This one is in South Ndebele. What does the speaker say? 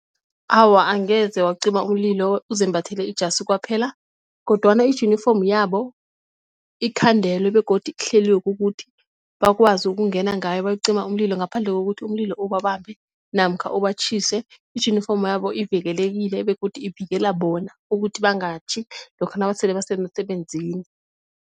Awa, angeze wacima umlilo uzembathele ijasi kwaphela kodwana ijunifomi yabo ikhandelwe begodu ihleliwe kukuthi bakwazi ukungena ngayo bakucima umlilo ngaphandle kokuthi umlilo ubambe namkha ibatjhise. Ijunifomo yabo ivikelekile begodu ivikela bona ukuthi bangatjhi lokha nasele basemsebenzini.